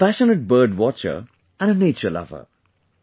He is a passionate bird watcher and a nature lover